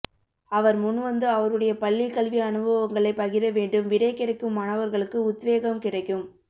அவர் முன்வந்து அவருடைய பள்ளி கல்வி அனுபவங்களை பகிர வேண்டும் விடை கிடைக்கும் மாணவர்களுக்கு உத் வேகம் கிடைக்கும்